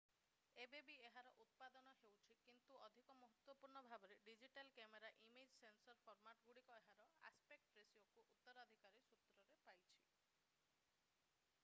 ଏବେ ବି ଏହାର ଉତ୍ପାଦନ ହେଉଛି କିନ୍ତୁ ଅଧିକ ମହତ୍ତ୍ୱପୂର୍ଣ୍ଣ ଭାବରେ ଡିଜିଟାଲ କ୍ୟାମେରାର ଇମେଜ୍ ସେନ୍ସର ଫର୍ମାଟଗୁଡ଼ିକ ଏହାର ଆସପେକ୍ଟ ରେସିଓକୁ ଉତ୍ତରାଧିକାରୀ ସୂତ୍ରରେ ପାଇଛି